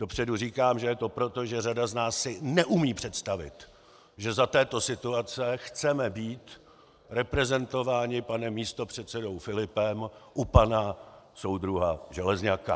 Dopředu říkám, že je to proto, že řada z nás si neumí představit, že za této situace chceme být reprezentováni panem místopředsedou Filipem u pana soudruha Železňaka.